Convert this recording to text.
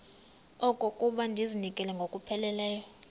okokuba ndizinikele ngokupheleleyo